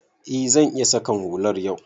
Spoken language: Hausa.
E, zan iya saƙan hular yau.